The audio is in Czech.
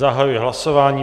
Zahajuji hlasování.